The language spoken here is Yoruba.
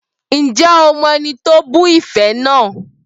Ǹjẹ́ o mọ ẹni tó bu ife náà?